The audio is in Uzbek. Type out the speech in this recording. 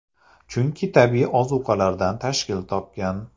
Chunki tabiiy ozuqalardan tashkil topgan.